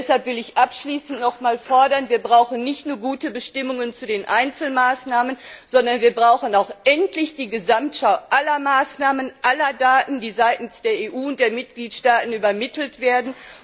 Deshalb will ich abschließend noch einmal fordern Wir brauchen nicht nur gute Bestimmungen zu den Einzelmaßnahmen, sondern wir brauchen auch endlich die Gesamtschau aller Maßnahmen, aller Daten, die seitens der EU und der Mitgliedstaaten übermittelt werden.